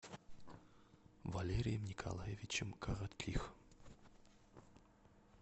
валерием николаевичем коротких